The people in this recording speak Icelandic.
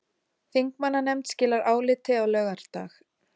Þingmannanefnd skilar áliti á laugardag